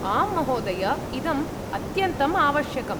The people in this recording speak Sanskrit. आं महोदय, इदम् अत्यन्तम् आवश्यकम्।